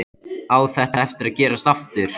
Á þetta eftir að gerast aftur?